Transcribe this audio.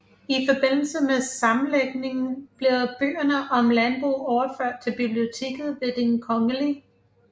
I forbindelse med sammenlægningen blev bøgerne om landbrug overført til biblioteket ved Den Kgl